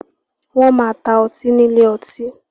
Wọ́n máa ta ọtí ní ilé ọtí.